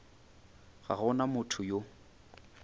ga go na motho yo